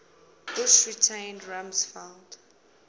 bush retained rumsfeld